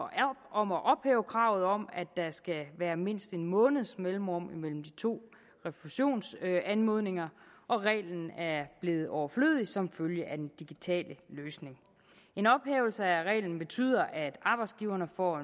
om at ophæve kravet om at der skal være mindst en måneds mellemrum imellem de to refusionsanmodninger og reglen er blevet overflødig som følge af den digitale løsning en ophævelse af reglen betyder at arbejdsgiverne får